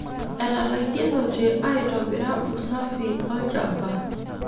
Etalaikinote aitobira usafi olchamba.